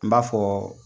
N b'a fɔ